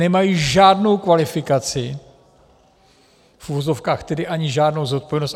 Nemají žádnou kvalifikaci, v uvozovkách, tedy ani žádnou zodpovědnost.